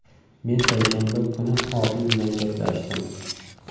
Men payshanba kuni Odil bilan gaplashdim.